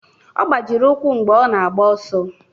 Ọ gbajiri ụkwụ mgbe ọ na-agba ọsọ